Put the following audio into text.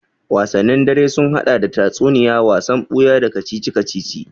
Wasanni dare sun haɗa da tatsuniya, wasan buya, da kacici-kacici